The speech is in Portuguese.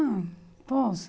Ah, posso.